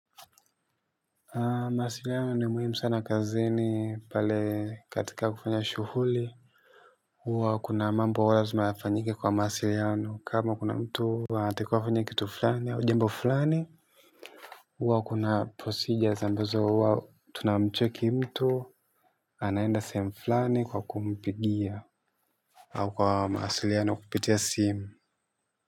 Mawasiliano ni muhimu sana kazini pale katika kufanya shughuli. Huwa kuna mambo huwa lazima ya fanyike kwa mawasiliano kama kuna mtu anatakiwa afanye kitu fulani au jambo fulani. Huwa kuna procedures ambazo huwa tunamcheki mtu. Anaenda sehemu fulani kwa kumpigia au kwa mawasiliano kupitia simu.